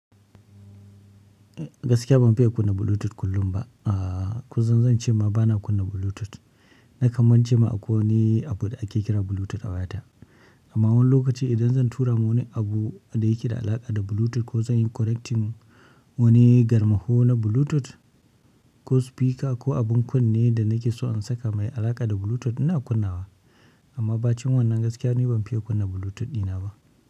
Gaskiya ban fiya kunna Bluetooth kullum ba ahh. Kusan zance ma bana kunna Bluetooth. Na kan mance ma akwai wani abu da ake kira Bluetooth a wayata. Amma wani lokaci idan zan tura ma wani abu da yake da alaƙa da Bluetooth ko zan yi connecting wani garmaho na Bluetooth ko speaker ko abun kunne da nake so in saka mai alaƙa da Bluetooth ina kunna wa. Amma bacin wannan gaskiya ni ban fiya kunna Bluetooth dina ba.